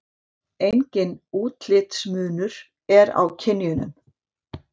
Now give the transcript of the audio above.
Enginn útlitsmunur er á kynjunum.